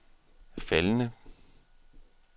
faldende